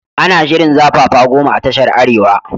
Ana shirin zafafa goma a tashan arewa